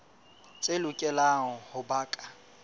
tse lokelang ho ba ka